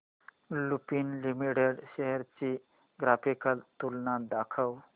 Lupin limited shares ची graphical तुलना दाखव